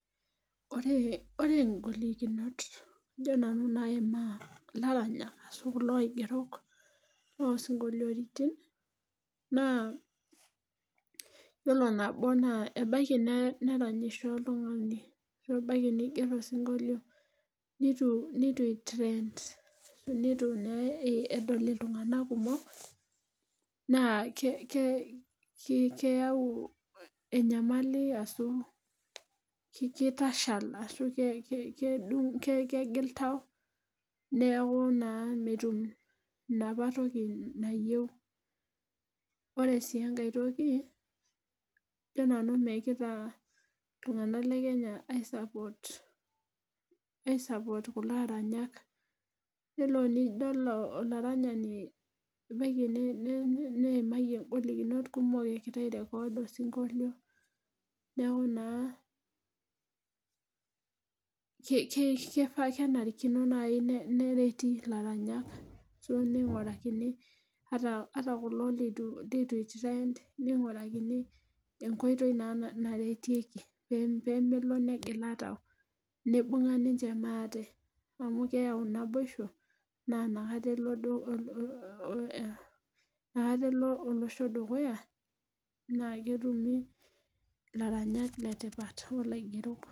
Ore igolikinot ajo nanu naimaa ilaramatak ashu kulo aigerok osinkolioritin naa iyiolo nabo naa ebaiki neranyisho oltungani. ashu ebaiki niger osinkolio. neitu trend. neutu naa edol iltunganak kumok naa keyau enyamali ashu kitashal. ashu kegil tau. neeku naa metum enapa toki nayieu, ore sii enkae toki ajo nanu megirae iltunganak le Kenya ai support kulo aranyak. iyiolo tenidol olaranyani ebaiki niimayie ng'olikunot kumok egira ai record osinkolio. neeku naa kenarikino naaji nereti ilaranyak. ningurakini ata kulo leitu itrend ningurakini enkoitoi naa naretieki pee melo negila tau. nibung'a ninche maate. amu keyau naboisho. amu inakata elo olosho dukuya. naa ketumi ilaranyak le tipat. olaingerok.